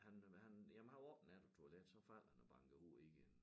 Han han jamen han var oppe en nat på toilet så falder han og banker hovedet ind i